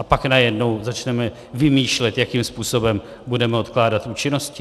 A pak najednou začneme vymýšlet, jakým způsobem budeme odkládat účinnosti?